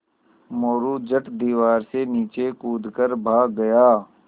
मोरू झट दीवार से नीचे कूद कर भाग गया